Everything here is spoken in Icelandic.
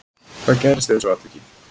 Hvað gerðist í þessu atviki